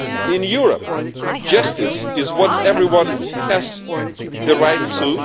In Europe, justice is what everyone has the right to